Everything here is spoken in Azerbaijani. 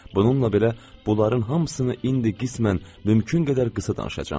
Bununla belə, bunların hamısını indi qismən mümkün qədər qısa danışacam.